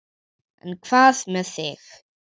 En hvað með þig.